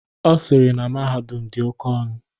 Ọ sịrị na mahadum ahụ dị oke ọnụ.